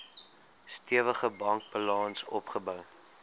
stewige bankbalans opgebou